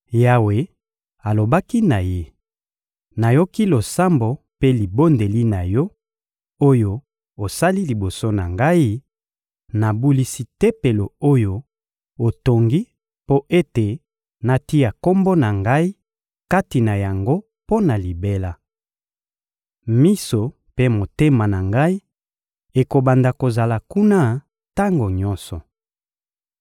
Yawe alobaki na ye: «Nayoki losambo mpe libondeli na yo, oyo osali liboso na Ngai; nabulisi Tempelo oyo otongi mpo ete natia Kombo na Ngai kati na yango mpo na libela. Miso mpe motema na Ngai ekobanda kozala kuna tango nyonso.